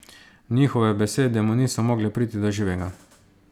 Njihove besede mu niso mogle priti do živega.